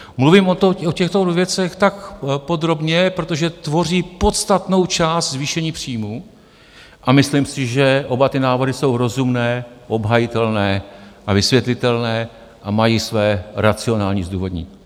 Mluvím o těchto věcech tak podrobně, protože tvoří podstatnou část zvýšení příjmů a myslím si, že oba ty návrhy jsou rozumné, obhajitelné a vysvětlitelné a mají své racionální zdůvodnění.